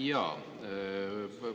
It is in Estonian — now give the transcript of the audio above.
Jaa.